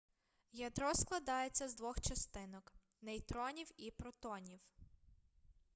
ядро складається з двох частинок нейтронів і протонів